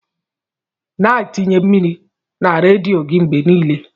Na atinye mmiri na radietor gi mgbe nile.